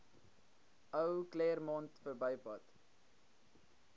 ou claremont verbypad